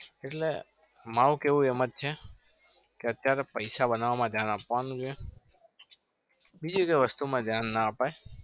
એટલે મારું કેવું એ મ જ છે કે અત્યારે પૈસા બનવામાં ધ્યાન આપવાનું છે. બીજી એકે વસ્તુમાં ધ્યાન ના અપાય.